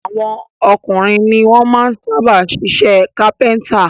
Àwọn ọkùnrin ni wọ́n sábà máa ń ṣiṣẹ́ kápẹ́ńtà.